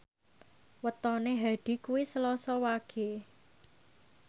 wetone Hadi kuwi Selasa Wage